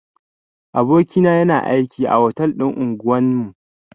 Aboki na yana aiki a otal din unguwan mu.